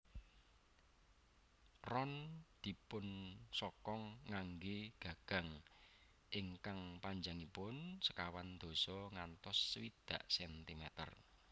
Ron dipunsokong nganggé gagang ingkang panjangipun sekawan dasa ngantos swidak centimeter